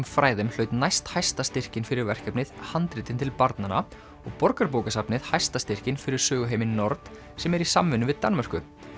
fræðum hlaut næsthæsta styrkinn fyrir verkefnið handritin til barnanna og Borgarbókasafnið hæsta styrkinn fyrir söguheiminn nord sem er í samvinnu við Danmörku